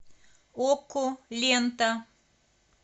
окко лента